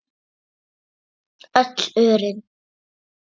Öll örin.